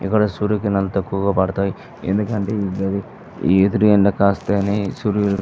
ఇక్కడ సూర్య కిరణాలు తక్కువుగా పడతాయి. ఎందుకంటే ఎదురు ఎండ కాస్తేనే సూర్యుడు --